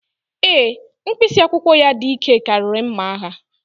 Ee, mkpịsị akwụkwọ ya dị ike karịa mma agha.